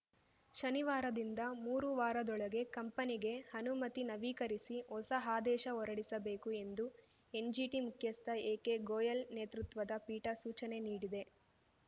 ಶನಿವಾರದಿಂದ ಮೂರು ವಾರದೊಳಗೆ ಕಂಪನಿಗೆ ಅನುಮತಿ ನವೀಕರಿಸಿ ಹೊಸ ಆದೇಶ ಹೊರಡಿಸಬೇಕು ಎಂದು ಎನ್‌ಜಿಟಿ ಮುಖ್ಯಸ್ಥ ಎಕೆ ಗೋಯಲ್‌ ನೇತೃತ್ವದ ಪೀಠ ಸೂಚನೆ ನೀಡಿದೆ